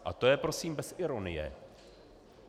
A to je prosím bez ironie.